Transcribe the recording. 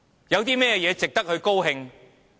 有甚麼值得高興？